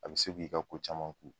A be se k'i ka ko caman ku.